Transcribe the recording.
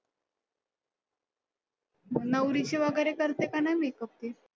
नवरीचे वगैरे करते का नाही makeup ती?